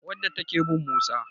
wadda take bin Musa